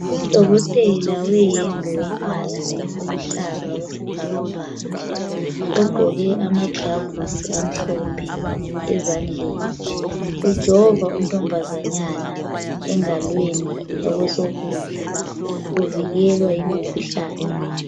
Udokotela weyembe yombala oluhlaza okwesibhakabhaka ogqoke amaglavusi amhlophe ezandleni. Ujova untombazanyana engalweni yakwesokudla uvikelwa imikhuhlane.